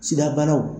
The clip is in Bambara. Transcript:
Sidabanaw